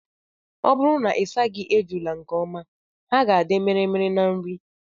Ọ bụrụ na ịsaghị ejula nke ọma, ha ga-adị mirimiri na nri.